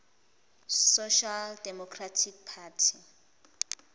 social democratic party